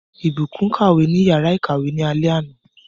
Ìbùkún kàwé ní yàrá ìkàwé ní alé àná.